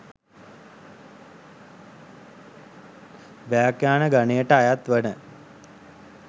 ව්‍යාඛ්‍යාන ගණයට අයත් වන